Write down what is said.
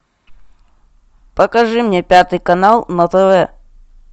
покажи мне пятый канал на тв